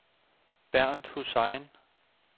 Bernt Hussein